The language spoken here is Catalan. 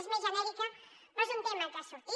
és més genèrica però és un tema que ha sortit